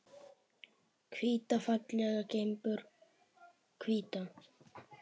Hvíta fallega gimbur, hvíta.